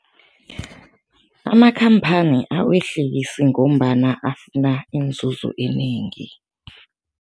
Amakhamphani awehlisi ngombana afuna inzuzo enengi.